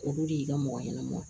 Olu de y'i ka mɔgɔ ɲɛnɛma